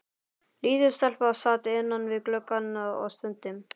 Lítil stelpa sat innan við gluggann og stundi.